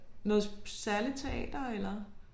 Noget særligt teater eller?